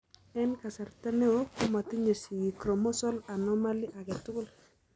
En kasarta neo komotinye sigik chromosal anomally agetugul.